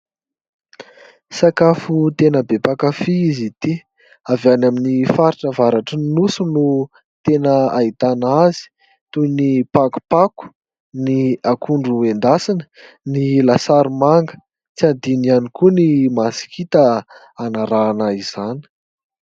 Sakafo tena be mpankafia izy ity. Avy any amin'ny faritra avaratrin'ny nosy no tena ahitana azy toy ny : pakopako, ny akondro endasina, ny lasary manga ; tsy adino ihany koa ny masikita anarahana izany.